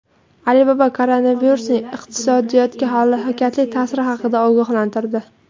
Alibaba koronavirusning iqtisodiyotga halokatli ta’siri haqida ogohlantirdi.